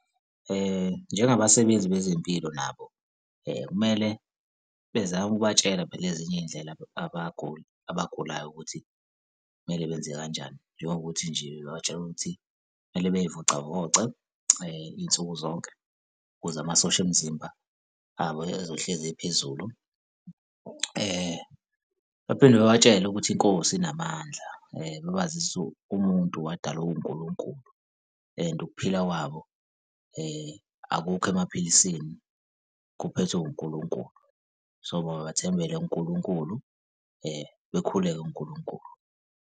Njengabasebenzi bezempilo nabo kumele bezame ukubatshela phela ezinye iy'ndlela abagulayo ukuthi kumele benze kanjani, njengokuthi nje babatshele ukuthi kumele bey'vocavoce iy'nsuku zonke ukuze amasosha omzimba abo ezohlezi ephezulu. Baphinde babatshele ukuthi inkosi inamandla babazise umuntu wadalwa uNkulunkulu and ukuphila kwabo akukho emaphilisini, kuphethwe uNkulunkulu, so mabethembele kuNkulunkulu, bekhuleka kuNkulunkulu.